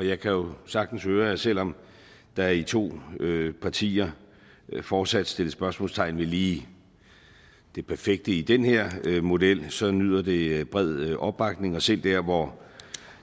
jeg kan jo sagtens høre at selv om der i to partier fortsat sættes spørgsmålstegn ved lige det perfekte i den her model så nyder det bred opbakning og selv der hvor